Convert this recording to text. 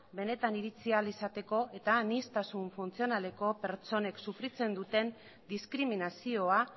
benetan iritsi ahal izateko eta aniztasuna funtzionaleko pertsonek sufritzen duten diskriminazioa